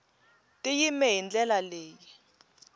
ti yime hi ndlela leyi